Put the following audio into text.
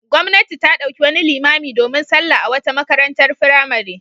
Gwamnati ta ɗauki wani limami domin sallah a wata makarantar firamare.